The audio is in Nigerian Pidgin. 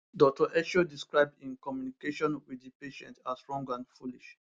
dr esho describe im communication wit di patient as wrong and foolish